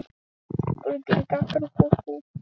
Ölvir, hvenær kemur vagn númer fimmtíu?